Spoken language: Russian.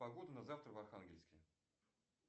погода на завтра в архангельске